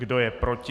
Kdo je proti?